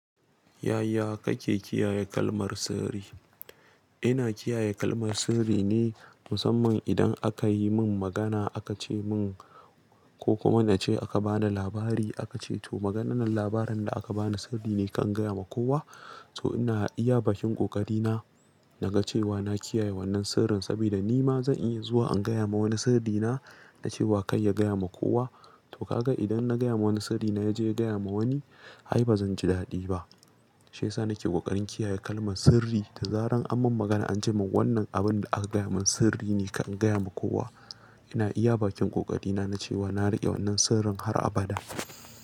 Yaya kake kiyaye kalmar sirri? Ina kiyaye kalmar sirri ne musamman idan aka yi min magana aka ce min ko kuma nace aka ba ni labari aka ce to maganan labarin da aka bani sirri ne kar in gaya ma kowa. To ina iya bakin ƙoƙari na naga cewa na kiyaye wannan sirrin saboda nima zan iya zuwa an gaya ma wani sirrina dace wa kar ya gaya ma kowa. To ka ga idan na gaya ma wani sirrina yaje ya gaya ma wani ai bazanji daɗi ba. Shiyasa nake ƙoƙarin kiyaye kalmar sirri da zarar an mun magana an ce mun wannan abun da aka gaya mun sirri ne kar in gaya ma kowa. Ina iya bakin ƙoƙari na nachewa na riƙe wannan sirrin har abada.